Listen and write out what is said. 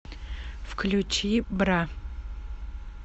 включи бра